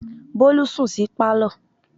Bólú sùn sí Pálọ̀.